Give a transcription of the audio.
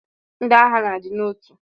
Ndi agha na adi na otu.